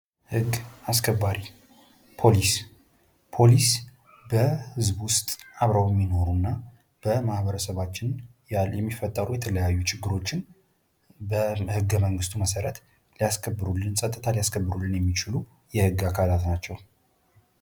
ህግ አስከባሪ ፖሊስ ፖሊስ በህዝቡ ውስጥ አብረው የሚኖሩና በማህበረሰባችን የሚፈጠሩ ችግሮችን በህገ መንግሥቱ መሠረት ጸጥታ ሊያስከብሩልን ከሚችሉ የህግ አካላት ናቸው።